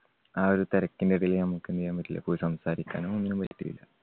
ആ ഒരു തിരക്കിൻ്റെ ഇടയിൽ നമ്മുക്ക് എന്ത് ചെയ്യാൻ പറ്റില്ല പോയി സംസാരിക്കാനൊന്നും പറ്റിയില്ല.